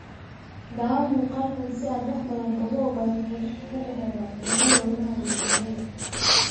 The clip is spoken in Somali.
(Daawo muuqaalka si aad wax badan uga ogaato xidhiidhka ka dhexeeya cudurada wadnaha iyo kalyaha.